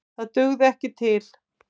Það dugði ekki til.